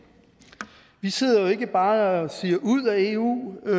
vi sidder ikke bare og siger ud af eu